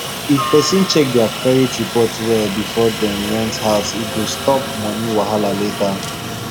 if person check their credit report well before dem rent house e go stop money wahala later